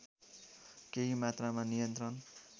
केही मात्रामा नियन्त्रण